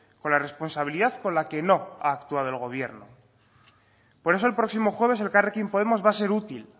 con la responsabilidad con la que no ha actuado el gobierno por eso el próximo jueves elkarrekin podemos va a ser útil